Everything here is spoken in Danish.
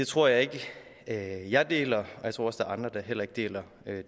tror jeg ikke at jeg deler og jeg tror også andre der heller ikke deler